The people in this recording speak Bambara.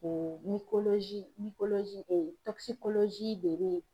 O de bɛ